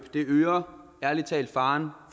øger ærlig talt faren